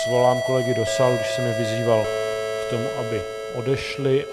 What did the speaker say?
Svolám kolegy do sálu, když jsem je vyzýval k tomu, aby odešli.